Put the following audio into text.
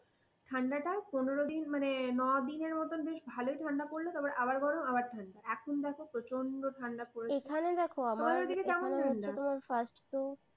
ঠান্ডাটা পনের দিন মানে ন দিনের মতন বেশ ভালই ঠান্ডা পড়লো। তারপর আবার গরম আবার ঠান্ডা এখন দেখো প্রচন্ড ঠান্ডা পড়েছে। এখানে দেখো আমার, তোমার ওদিকে কেমন ঠান্ডা? এখানে হচ্ছে তোমার first এ,